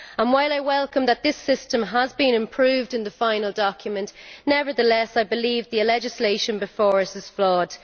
While I welcome the fact that this system has been improved in the final document, I nevertheless believe that the legislation before us is flawed.